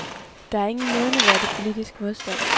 Der er ingen nævneværdig politisk modstand.